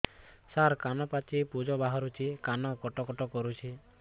ସାର କାନ ପାଚି ପୂଜ ବାହାରୁଛି କାନ କଟ କଟ କରୁଛି